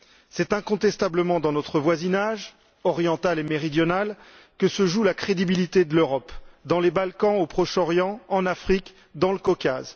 C'est incontestablement dans notre voisinage, oriental et méridional, que se joue la crédibilité de l'Europe dans les Balkans, au Proche Orient, en Afrique et dans le Caucase.